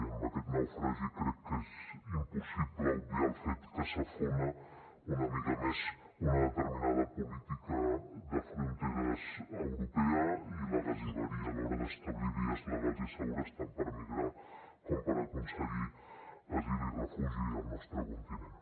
i amb aquest naufragi crec que és impossible obviar el fet que s’afona una mica més una determinada política de fronteres europea i la gasiveria a l’hora d’establir vies legals i segures tant per migrar com per aconseguir asil i refugi al nostre continent